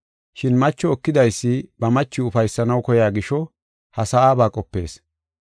Shin macho ekidaysi ba machiw ufaysanaw koya gisho, ha sa7aba qopees.